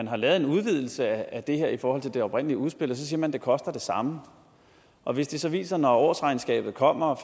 har lavet en udvidelse af det her i forhold til det oprindelige udspil og så siger man at det koster det samme og hvis det så viser sig når årsregnskabet kommer